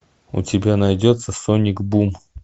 у тебя найдется соник бум